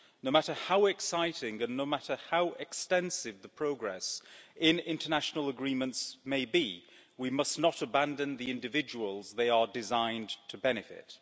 No matter how exciting and no matter how extensive the progress in international agreements may be, we must not abandon the individuals they are designed to benefit.